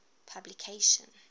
publication